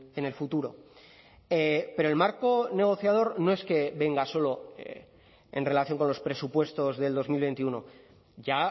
en el futuro pero el marco negociador no es que venga solo en relación con los presupuestos del dos mil veintiuno ya